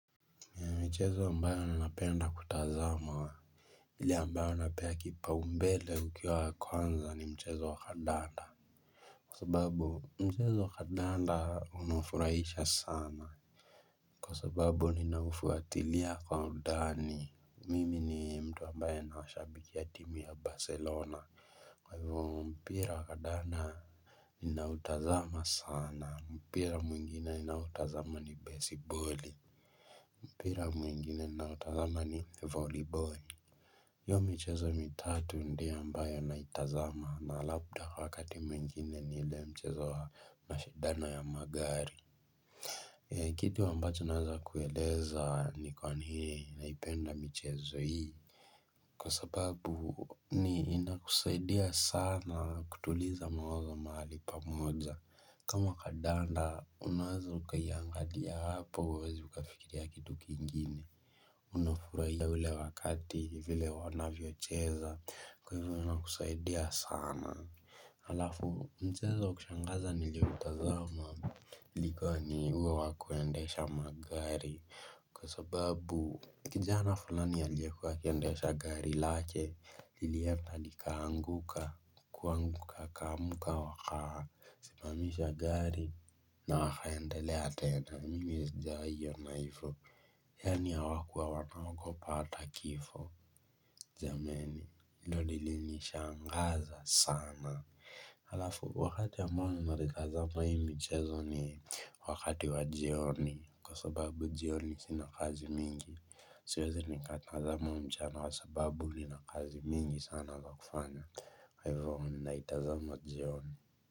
Mchezo ambayo ninapenda kutazama wa ile ambayo napea kipaumbele ukiwa wa kwanza ni mchezo wa kandanda. Kwa sababu mchezo wa kandanda unafurahisha sana, Kwa sababu ninaufuatilia kwa undani. Mimi ni mtu ambaye nawashabikia timu ya Barcelona. Kwa hivyo mpira wa kadanda ninautazama sana. Mpira mwingine ninaotazama ni besiboli. Mpira mwingine ninaotazama ni voliboli. Hiyo mchezo mitatu ndiyo ambayo naitazama na labda kwa wakati mwingine ni ile mchezo wa mashindano ya magari. Kitu ambacho naeza kueleza ni kwanii naipenda michezo hii. Kwa sababu ni inakusaidia sana kutuliza mawazo mahali pamoja. Kama kandanda unaweza ukaiangalia hapo hauwezi ukafikiria kitu kingine. Unafurahia ule wakati vile wanavyocheza kwa hivyo wanakusaidia sana alafu mchezo wa kushangaza nilioutazama ilikuwa ni huo wa kuendesha magari kwa sababu kijana fulani aliyekuwa akiendesha gari lake lilienda likaanguka kuanguka akaamka wakaa simamisha gari na akaendelea tena. Mimi sijawahi ona hivo. Yaani hawakuwa wanaogopa hata kifo, jameni. Hii ndo lilinishangaza sana. Halafu wakati ambao ninaitazama hii michezo ni wakati wa jioni kwa sababu jioni sina kazi mingi. Siwezi nikatazama mchana kwa sababu nina kazi mingi sana za kufanya kwa hivo ninaitazama jioni.